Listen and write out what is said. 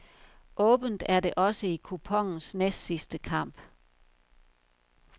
Åbent er det også i kuponens næstsidste kamp.